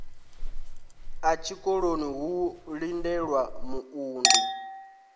ḓa tshikoloni ho lindelwa muunḓi